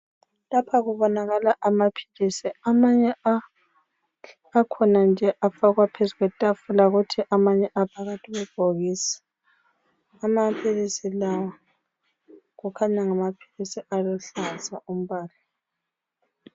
Lapha kubonakala amaphilisi. Amanye akhona nje afakwa phezu kwetafula kuthi amanye afakwa phakathi kwebhokisi. Amaphilisi lawa kukhanya ngamaphilisi aluhlaza umbala.